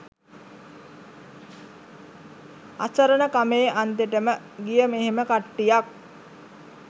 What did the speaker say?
අසරණකමේ අන්තෙටම ගිය මෙහෙම කට්ටියක්